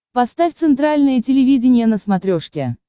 поставь центральное телевидение на смотрешке